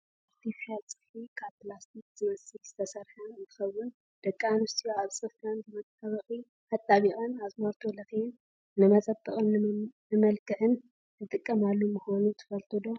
ኣርተፍሻል ፅፍሪ ካብ ፕላስቲክ ዝመስል ዝተሰረሓ እንትኮውን፣ ደቂ ኣንስትዮ ኣብ ፅፍረን ብመጣበቂ ኣጥቢቀን ኣዝማልቶ ሌኬን ንመፀበቅን ንመልክዕን ዝጥቀማሉ ምኳኑ ትፈልጡ ዶ?